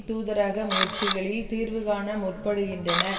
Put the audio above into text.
தூதரக முயற்சிகளில் தீர்வு காண முற்படுகின்றன